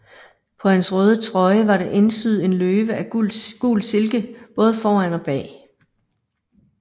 På hans røde trøje var der indsyet en løve af gul silke både foran og bag